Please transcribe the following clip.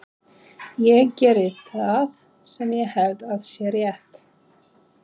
Ég geri það sem ég held að sé rétt.